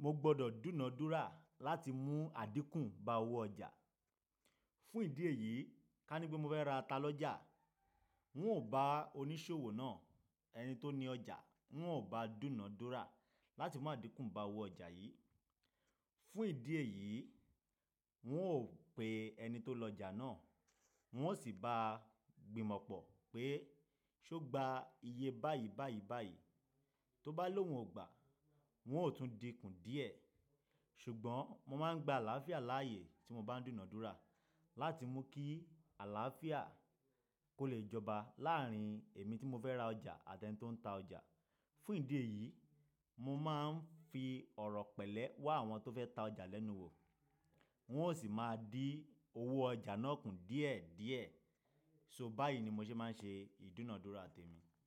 mo gbọdọ̀ dúnàádúrà láti mú àdínkù bá owó ọjà. Fún ìdí èyí, ká ní pé mo fẹ́ ra ata lọ́jà, n ó bá oníṣòwò náà, ẹni tó ni ọjà, n ó bá dúnàádúrà láti mú àdínkù bá owó ọjà yìí. Fún ìdí èyí, n ó pè ẹni tó lọjà náà, n ó sì bá gbin mọ̀pọ̀ pé ṣó gba iye báyìí báyìí báyìí. Tó bá lòun ò gbà, n ó tún dínkù díẹ̀. Ṣùgbọ́n mo máa ń gba àlàáfíà láàyè tí mo bá ń dúnàádúrà láti mú kí àlàáfíà kó lè jọba láàárín èmi tí mo fẹ́ ra ọjà àti ẹni tó ń ta ọjà. Fún ìdí èyí, mo máa ń fi ọ̀rọ̀ pẹ̀lẹ́ wá àwọn tó fẹ́ ta ọjà lẹ́nu wò, wọn ó sì máa dí owó ọjà náà kù díẹ̀ díẹ̀. So báyìí ni mo ṣe máa ń ṣe ìdúnàádúrà tèmi.